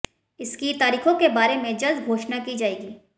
इसकी तारीखों के बारे में जल्द घोषणा की जाएगी